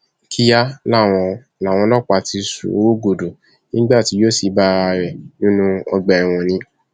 kíá làwọn làwọn ọlọpàá ti sú u rúgúdù nígbà tí yóò sì bá ara rẹ nínú ọgbà ẹwọn ni